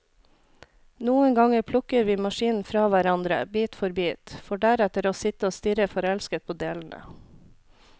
Noen ganger plukker vi maskinen fra hverandre, bit for bit, for deretter å sitte og stirre forelsket på delene.